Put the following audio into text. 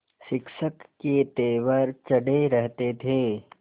शिक्षक के तेवर चढ़े रहते थे